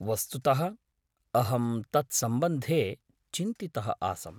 वस्तुतः अहं तत्सम्बन्धे चिन्तितः आसम्।